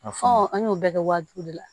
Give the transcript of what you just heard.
Fɔ an y'o bɛɛ kɛ waajibi de la